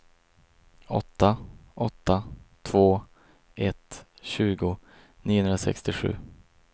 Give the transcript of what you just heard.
åtta åtta två ett tjugo niohundrasextiosju